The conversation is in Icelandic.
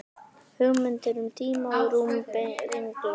Hugmyndir um tíma og rúm brenglast.